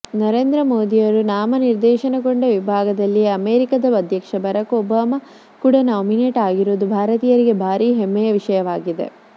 ನರೇಂದ್ರ ಮೋದಿಯವರು ನಾಮನಿರ್ದೇಶನಗೊಂಡ ವಿಭಾಗದಲ್ಲಿಯೇ ಅಮೆರಿಕಾದ ಅಧ್ಯಕ್ಷ ಬರಾಕ್ ಒಬಾಮಾ ಕೂಡ ನಾಮಿನೇಟ್ ಆಗಿರುವುದು ಭಾರತೀಯರಿಗೆ ಭಾರೀ ಹೆಮ್ಮೆಯ ವಿಷಯವಾಗಿದೆ